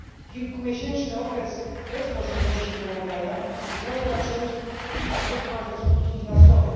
Kilkumiesięczny okres bez możliwości poławiania miałby dla przemysłu bardzo poważne skutki finansowe.